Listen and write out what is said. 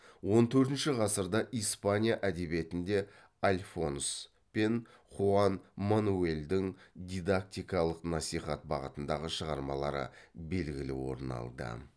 он төртінші ғасырда испания әдебиетінде альфонс пен хуан мануэльдің дидактикалық насихат бағытындағы шығармалары белгілі орын алды